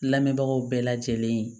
Lamɛnbagaw bɛɛ lajɛlen